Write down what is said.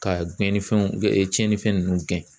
Ka gɛnnifɛnw tiɲɛnifɛn ninnu gɛn